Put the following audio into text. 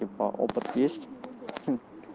типа опыт есть хм